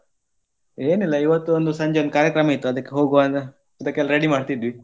ಏನಿಲ್ಲ ಇವತ್ತು ಒಂದು ಸಂಜೆ ಕಾರ್ಯಕ್ರಮ ಇತ್ತು ಅದಕ್ಕೆ ಹೋಗುವ ಅಂತ ಅದಕ್ಕೆಲ್ಲ ready ಮಾಡ್ತಾ ಇದ್ವಿ.